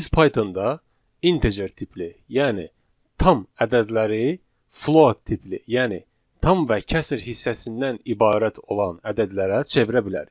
Biz Pythonda integer tipli, yəni tam ədədləri float tipli, yəni tam və kəsr hissəsindən ibarət olan ədədlərə çevirə bilərik.